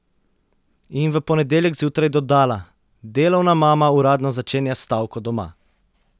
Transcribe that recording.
In v ponedeljek zjutraj dodala: "Delovna mama uradno začenja stavko doma.